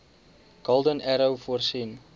golden arrow voorsien